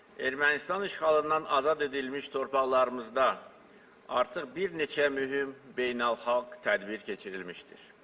Ermənistan işğalından azad edilmiş torpaqlarımızda artıq bir neçə mühüm beynəlxalq tədbir keçirilmişdir.